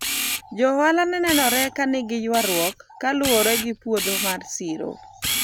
jo ohala ne nenore ka nigi ywaruok kaluwore gi puodho mar siro